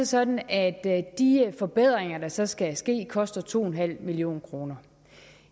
sådan at de forbedringer der så skal ske koster to en halv million kroner